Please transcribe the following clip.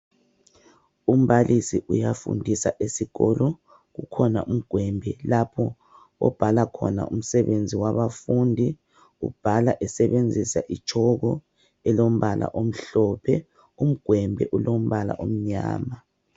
Umbalisi uyafundisa esikolo. Kukhona umgwembe lapho obhala khona umsebenzi wabafundi. Ubhala esebenzisa itshoko elombala omhlophe. Umgwembe ulombala omnyama.